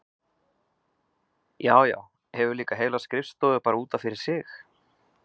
Já, já, hefur líka heila skrifstofu bara út af fyrir sig!